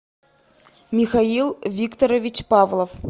михаил викторович павлов